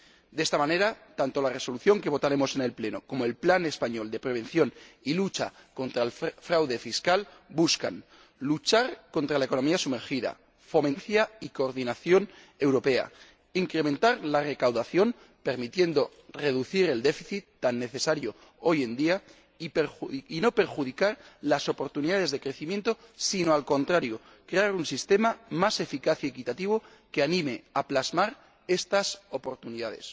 De esta manera, tanto la Resolución que votaremos en el Pleno como el plan español de prevención y lucha contra el fraude fiscal buscan luchar contra la economía sumergida, fomentar la transparencia y la coordinación europea, incrementar la recaudación permitiendo reducir el déficit —algo tan necesario hoy en día— y no perjudicar las oportunidades de crecimiento sino, al contrario, crear un sistema más eficaz y equitativo que anime a plasmar estas oportunidades.